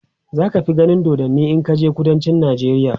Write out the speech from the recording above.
zaka fi ganin dodanni in kaje kudancin nijeriya